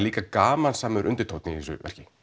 líka gamansamur undirtónn í þessu verki